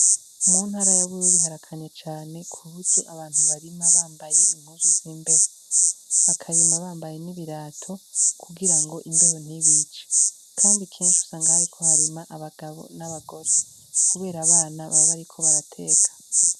Umunt ara yab ururi harakanya cane kubudo abantu barima bambaye impuzu z'imbeho bakarima bambaye n'ibirato kugira ngo imbeho ntibice, kandi kenshi usanga ahariko harima abagabo n'abagore, kubera abana babbe, ariko barateka.